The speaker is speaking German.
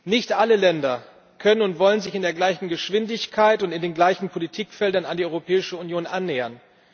Nicht alle Länder können und wollen sich in der gleichen Geschwindigkeit und in den gleichen Politikfeldern an die Europäische Union annähern.